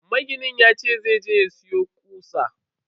Maginin yace zai je ya siyo kutsa.